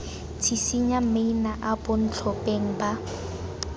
tshisinya maina a bontlhopheng ba